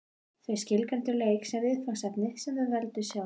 Þau skilgreindu leik sem viðfangsefni sem þau veldu sjálf.